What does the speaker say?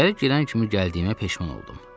İçəri girən kimi gəldiyimə peşman oldum.